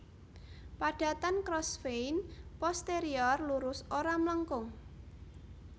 Padatan Crossvein posterior lurus ora mlengkung